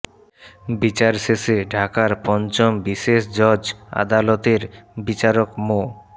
বিচার শেষে ঢাকার পঞ্চম বিশেষ জজ আদালতের বিচারক মো